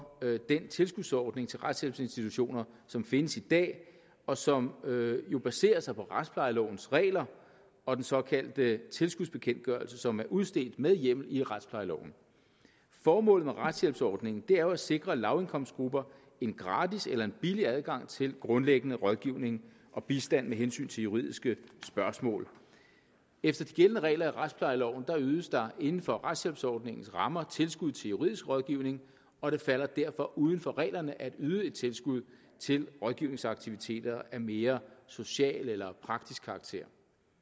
den tilskudsordning til retshjælpsinstitutioner som findes i dag og som jo baserer sig på retsplejelovens regler og den såkaldte tilskudsbekendtgørelse som er udstedt med hjemmel i retsplejeloven formålet med retshjælpsordningen er jo at sikre lavindkomstgrupper en gratis eller en billig adgang til grundlæggende rådgivning og bistand med hensyn til juridiske spørgsmål efter de gældende regler i retsplejeloven ydes der inden for retshjælpsordningens rammer tilskud til juridisk rådgivning og det falder derfor uden for reglerne at yde et tilskud til rådgivningsaktiviteter af mere social eller praktisk karakter